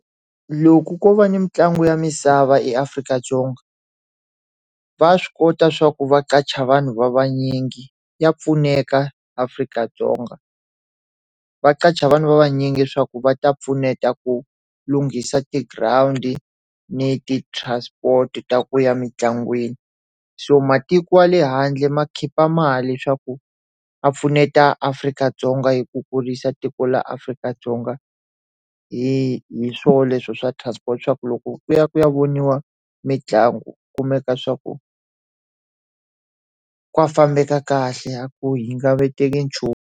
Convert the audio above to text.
Loko ko va ni mitlangu ya misava eAfrika-Dzonga va swi kota swa ku va qasha vanhu va vanyingi, ya pfuneka Afrika-Dzonga. Va qasha vanhu va vanyingi swa ku va ta pfuneta ku lunghisa ti-ground-i ni ti-transport-i ta ku ya mintlangwini. So matiko ya le handle ma khipha mali leswaku ya pfuneta Afrika-Dzonga hi ku kurisa tiko ra Afrika-Dzonga hi hi swona leswo swa transport, swa ku loko ku ya ku ya voniwa mitlangu, ku kumeka swa ku ka fambeka kahle a ku .